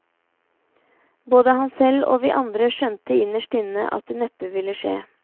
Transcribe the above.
Både han selv og vi andre skjønte innerst inne at det neppe ville skje.